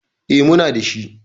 E, muna da shi.